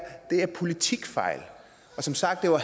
politikfejl og som sagt var